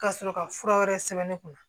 Ka sɔrɔ ka fura wɛrɛ sɛbɛn ne kunna